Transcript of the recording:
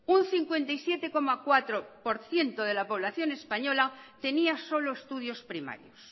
un cincuenta y siete coma cuatro por ciento de la población española tenía solo estudios primarios